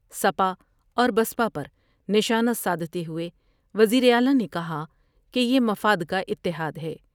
سپا اور بسپا پر نشانہ سادھتے ہوئے وزیر اعلی نے کہا کہ یہ مفاد کا اتحاد ہے ۔